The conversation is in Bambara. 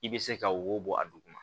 I bɛ se ka wo bɔ a duguma